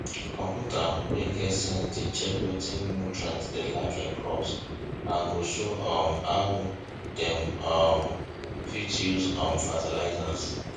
computer wey get sense dey check wetin nutrients dey lack in crops and go show um dem how um dem fit use um fertilizer